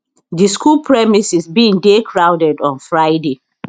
di school premises bin dey crowded on friday